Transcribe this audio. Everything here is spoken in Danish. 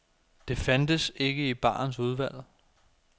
Det fandtes ikke i barens udvalg.